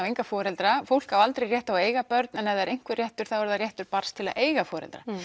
enga foreldra fólk á aldrei rétt á að eiga börn en ef það er einhver réttur er það réttur barns til að eiga foreldra